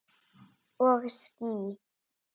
Og ský.